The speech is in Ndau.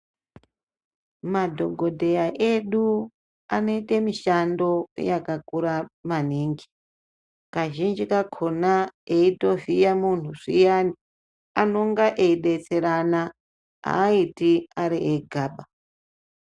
Madhokodheya edu, anoyita mishando yakakura maningi, kazhinji kakona eyitovhiya muntu zviyani, anonga eyidetserana, ayiti ari egaba.